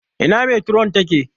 Ina metiron ta ke?